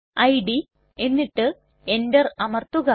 id എന്നിട്ട് Enter അമർത്തുക